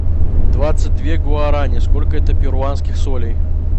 двадцать две гуарани сколько это перуанских солей